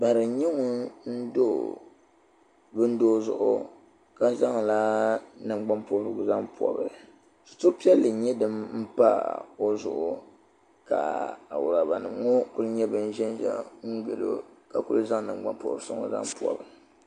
Bari n nyɛ ŋun do bindoo zuɣu ka zaŋ la nangban pobrigu zaŋ pobi situri piɛlli n nyɛ din pa o zuɣu ka awuraba nima ŋɔ kuli n ʒɛnʒɛya gili o ka kuli zaŋ nangban pobrisi ŋɔ zaŋ pobi.